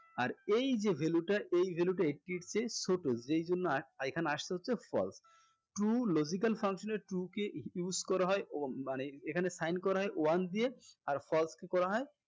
আর এই যে value টা এই value টা eighty এর চেয়ে ছোট যেই জন্য এখানে আসছে হচ্ছে false true logical function এ true কে use করা হয় মানে এখানে sign করা হয় one দিয়ে আর false কে করা হয়